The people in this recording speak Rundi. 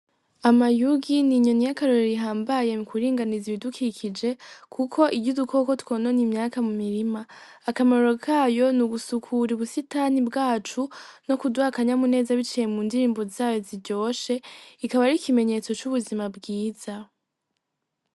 Amayugi ni inyoni yakaroro rihambaye m kuringaniza ibidukikije, kuko iryo udukoko twonone imyaka mu mirima akamaruro kayo ni ugusukura i busitani bwacu no kudwakanya muneza bicaye mu ndirimbo zayo ziryoshe ikaba ari ikimenyetso c'ubuzima bwiza.